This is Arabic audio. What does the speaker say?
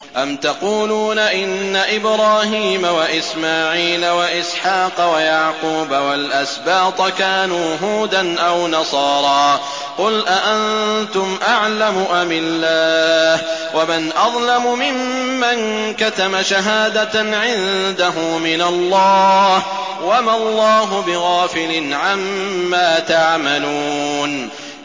أَمْ تَقُولُونَ إِنَّ إِبْرَاهِيمَ وَإِسْمَاعِيلَ وَإِسْحَاقَ وَيَعْقُوبَ وَالْأَسْبَاطَ كَانُوا هُودًا أَوْ نَصَارَىٰ ۗ قُلْ أَأَنتُمْ أَعْلَمُ أَمِ اللَّهُ ۗ وَمَنْ أَظْلَمُ مِمَّن كَتَمَ شَهَادَةً عِندَهُ مِنَ اللَّهِ ۗ وَمَا اللَّهُ بِغَافِلٍ عَمَّا تَعْمَلُونَ